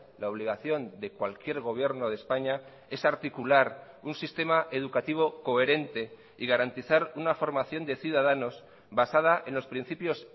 la obligación de cualquier gobierno de españa es articular un sistema educativo coherente y garantizar una formación de ciudadanos basada en los principios